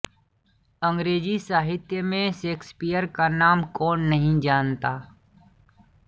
अंग्रेज़ी साहित्य में शेक्स्पियर का नाम कौन नहीं जानता